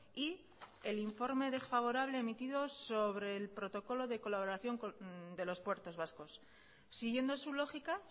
y el informe desfavorable emitido sobre el protocolo de colaboración de los puertos vascos siguiendo su lógica